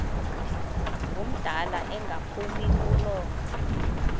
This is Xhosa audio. ngumdala engaphumi kulo